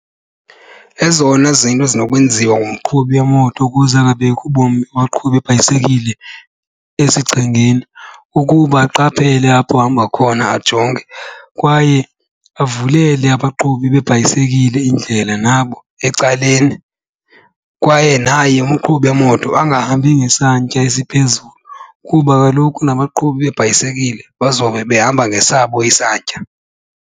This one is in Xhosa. Ezona zinto ezinokwenziwa ngumqhubi wemoto ukuze angabeki ubomi babaqhubi bebhayisekile esichengeni kukuba aqaphele apho ehamba khona ajonge kwaye abavulele abaqhubi bebhayisekile indlela nabo ecaleni. Kwaye naye umqhubi wemoto angahambi ngesantya esiphezulu kuba kaloku nabaqhubi beebhayisekile bazobe behamba ngesabo isantya.